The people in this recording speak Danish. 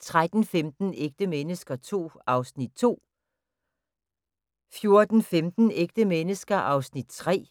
13:15: Ægte mennesker II (2:10) 14:15: Ægte mennesker II (3:10)